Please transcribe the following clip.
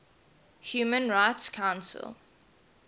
human rights council